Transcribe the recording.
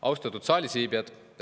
Austatud saalis viibijad!